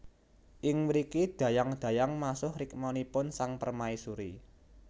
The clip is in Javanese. Ing mriki dayang dayang masuh rikmanipun sang permaisuri